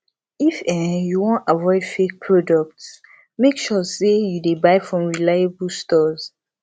if um you wan avoid fake product make sure sey you dey buy from reliable stores